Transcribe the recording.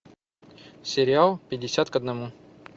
сериал пятьдесят к одному